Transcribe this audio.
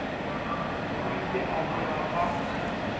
o ile a tloga a